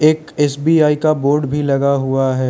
एक एस_बी_आई का बोर्ड भी लगा हुआ है।